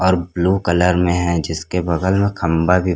और blue colour में हैं जिसके बगल में खंभा भी--